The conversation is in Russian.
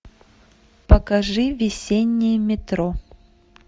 покажи весеннее метро